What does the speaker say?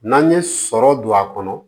N'an ye sɔrɔ don a kɔnɔ